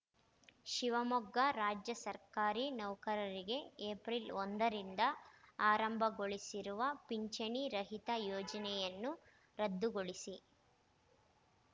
ಶಿವಮೊಗ್ಗ ರಾಜ್ಯ ಸರ್ಕಾರಿ ನೌಕರರಿಗೆ ಏಪ್ರಿಲ್ ಒಂದರಿಂದ ಆರಂಭಗೊಳಿಸಿರುವ ಪಿಂಚಣಿ ರಹಿತ ಯೋಜನೆಯನ್ನು ರದ್ದುಗೊಳಿಸಿ